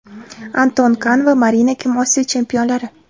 Anton Kan va Marina Kim Osiyo chempionlari.